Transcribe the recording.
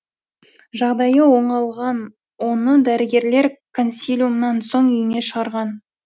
жағдайы оңалған оны дәрігерлер консилиумнан соң үйіне шығарған